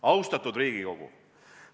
Austatud Riigikogu!